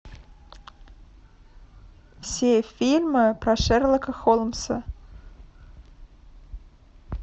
все фильмы про шерлока холмса